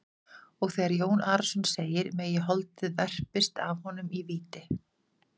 Og þegar Jón Arason segir:-Megi holdið verpist af honum í víti.